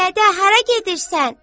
Dədə hara gedirsən?